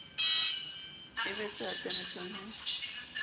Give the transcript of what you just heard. e be se atametseng ho